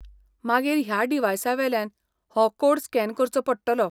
मागीर ह्या डिव्हायसावेल्यान हो कोड स्कॅन करचो पडटलो.